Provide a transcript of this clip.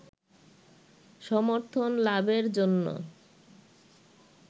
সমর্থন লাভের জন্য